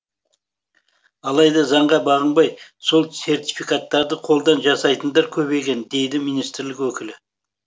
алайда заңға бағынбай сол сертификаттарды қолдан жасайтындар көбейген дейді министрлік өкілі